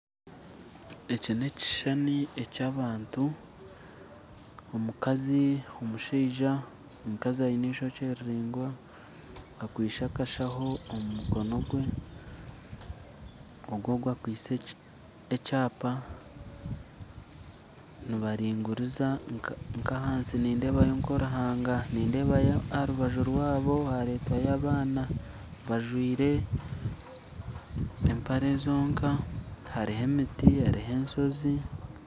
Eki n'ekishushani eky'abantu omukazi omushaija, omukazi aine eishokye riringwa akwaise akashaho omu mukono gwe ogu ogu akwaitse ekyapa nibaringuriza nk'ahansi nindeebayo nk'oruhanga nindeebayo aha rubaju rwabo hareetwayo abaana bajwaire empare zonka hariho emiti hariho enshozi.